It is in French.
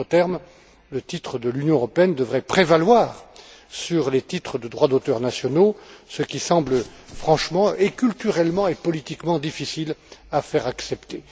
En d'autres termes, le titre de l'Union européenne devrait prévaloir sur les titres de droit d'auteur nationaux, ce qui semble franchement, et culturellement, et politiquement difficile à faire accepter.